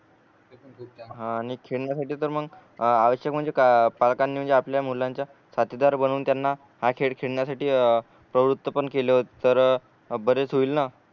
आणि खेळण्यासाठी तर मग आवश्यक म्हणजे का पालकांनी म्हणजे आपल्या मुलांच्या साथीदार बनून त्यांना हा खेळ खेळण्यासाठी प्रवृत्त पण केल तर बरेच होईल न